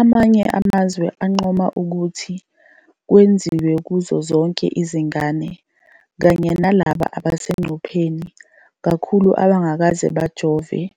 Amanye amazwe ancoma ukuthi kwenziwe kuzo zonke izingane kanye nalabo abasengcupheni kakhulu abangakaze bajovelwe